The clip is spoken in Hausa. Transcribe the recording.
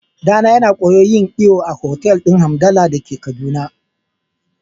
Ɗana yana koyon yin iyo a otal din Hamdalla dake kaduna.